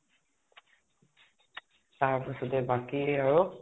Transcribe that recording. তাৰ পিছতে বাকী আৰু?